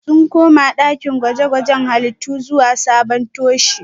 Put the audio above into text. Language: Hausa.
Sun koma dakin gwaje-gwajen halittu zuwa sabon toshe